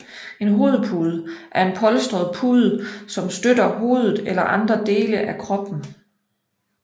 En hovedpude er en polstret pude som støtter hovedet eller andre dele af kroppen